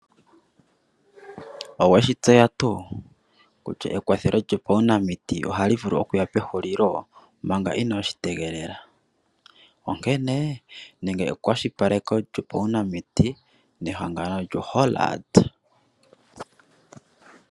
Oweshi tseya tuu kutya ekwathelo lyo paunamiti ohali vulu okuya pehulili manga inoshi tegelela onkene ninga ekwashilipaleko lyopaunamiti nehangano lyo Hollard